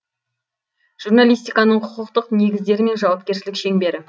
журналистиканың құқықтық негіздері мен жауапкершілік шеңбері